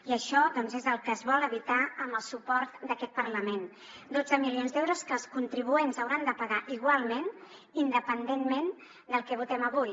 i això doncs és el que es vol evitar amb el suport d’aquest parlament dotze milions d’euros que els contribuents hauran de pagar igualment independentment del que votem avui